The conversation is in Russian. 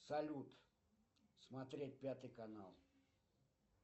салют смотреть пятый канал